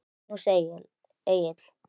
Magnús Egill.